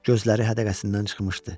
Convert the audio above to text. Gözləri hədəqəsindən çıxmışdı.